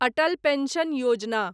Atal pension Yojana